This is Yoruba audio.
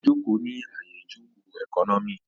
Ó jòkó ní àyè ìjòkó ẹkọ́nọ́mì